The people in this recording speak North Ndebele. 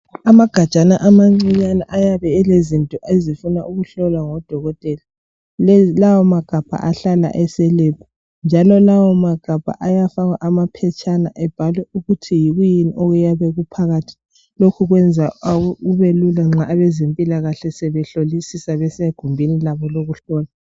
Amagajana amancinyane ayabe elezinto ezifuna ukuhlolwa ngodokotela. Lawo magabha ahlala ese"lab" njalo lawa magabha ayafakwa amaphetshana ebhalwe ukuthi yikwini okuyabe kuphakathi. Lokhu kwenza kubelula nxa abezempilakahle sebehlolisisa besegumbini labo lokuhlola.